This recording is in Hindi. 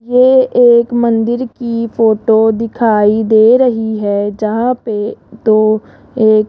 ये एक मंदिर की फोटो दिखाई दे रही है जहां पे दो एक --